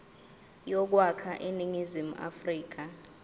yokwakha iningizimu afrika